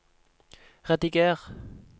rediger